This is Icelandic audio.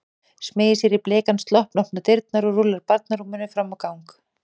Smeygir sér í bleikan slopp, opnar dyrnar og rúllar barnarúminu fram á ganginn.